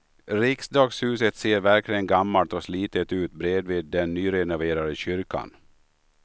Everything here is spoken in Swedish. Riksdagshuset ser verkligen gammalt och slitet ut bredvid den nyrenoverade kyrkan.